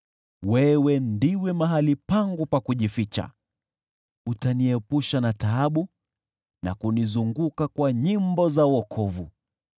Wewe ndiwe mahali pangu pa kujificha, utaniepusha na taabu na kunizunguka kwa nyimbo za wokovu.